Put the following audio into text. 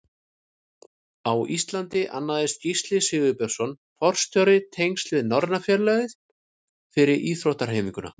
Á Íslandi annaðist Gísli Sigurbjörnsson forstjóri tengsl við Norræna félagið fyrir íþróttahreyfinguna.